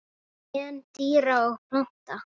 Gen dýra og plantna